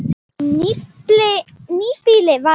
Nýbýli var reist.